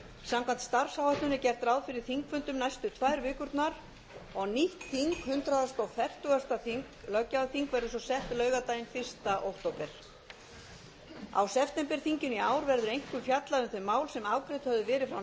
samkvæmt starfsáætlun er gert ráð fyrir þingfundum næstu tvær vikurnar og nýtt þing hundrað fertugasta löggjafarþing verður svo sett laugardaginn fyrsta október á septemberþinginu í ár verður einkum fjallað um þau mál sem afgreidd höfðu verið frá nefndum er